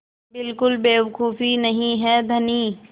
बिल्कुल बेवकूफ़ी नहीं है धनी